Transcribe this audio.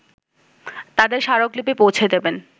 তাদের স্মারকলিপি পৌঁছে দেবেন